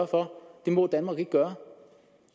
for det må danmark ikke gøre